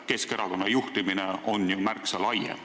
Keskerakonna juhtimine on toimunud aga märksa laiemalt.